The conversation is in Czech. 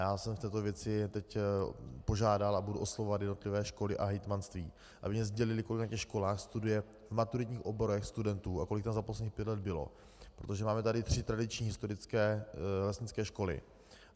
Já jsem v této věci teď požádal a budu oslovovat jednotlivé školy a hejtmanství, aby mi sdělily, kolik na těch školách studuje v maturitních oborech studentů a kolik jich za posledních pět let bylo, protože máme tady tři tradiční historické lesnické školy.